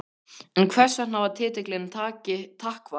En hvers vegna var titillinn Takk valinn?